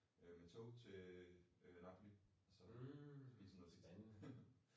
Øh med tog til øh øh Napoli og så øh spise noget pizza